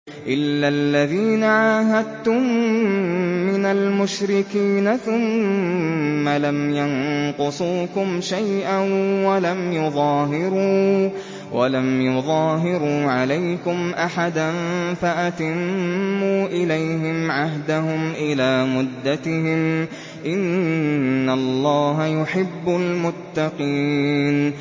إِلَّا الَّذِينَ عَاهَدتُّم مِّنَ الْمُشْرِكِينَ ثُمَّ لَمْ يَنقُصُوكُمْ شَيْئًا وَلَمْ يُظَاهِرُوا عَلَيْكُمْ أَحَدًا فَأَتِمُّوا إِلَيْهِمْ عَهْدَهُمْ إِلَىٰ مُدَّتِهِمْ ۚ إِنَّ اللَّهَ يُحِبُّ الْمُتَّقِينَ